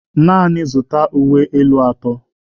Naanị zụta uwe elu atọ.